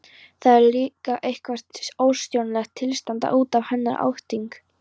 Það er líka eitthvert óstjórnlegt tilstand útaf hennar hátign.